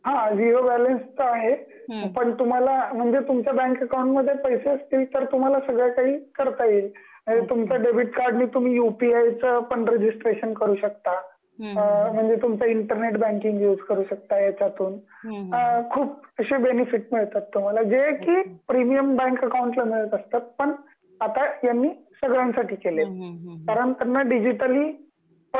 हा zero balance तर आहे पण तुम्हाला म्हणजे तुमचा बँक अकॉउंट मध्ये पैसे असतील तर तुम्हाला सगळ काही करता येईल. आणि तुमचा डेबिट कार्ड नि तुम्ही युपीआयच पण रजिस्ट्रेशन करू शकता. अ म्हणजे तुमच इंटरनेट बँकिंग युज करू शकता येचातून, अ खूप अशे बेनिफिट मिळतात तुम्हाला जे कि प्रीमियम बँक अकॉउंट ला मिळत असतात पण आता यांनी सगळ्यांसाठी केलं आहे